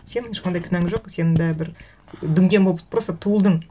сенің ешқандай кінәң жоқ сен де бір дүнген болып просто туылдың